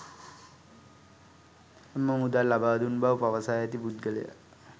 එම මුදල් ලබා දුන් බව පවසා ඇති පුද්ගලයා